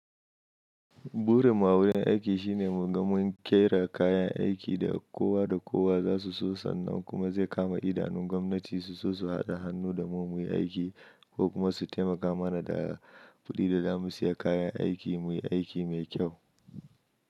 Burin mu awurin aiki shine mu ga mun ƙera kayan aiki da kowa da kowa za su so sannan kuma zai kama idanun gwamnati su so su haɗa hannu da mu muyi aiki ko kuma su taimaka mana da kuɗi da za mu siya kayan aiki muyi aiki mai kyau.